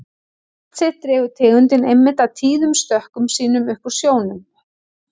Nafn sitt dregur tegundin einmitt af tíðum stökkum sínum upp úr sjónum.